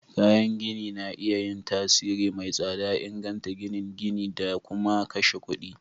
Kayan gini na iya yin tasiri mai tsada, inganta ginin gini da kuma kashe kuɗi.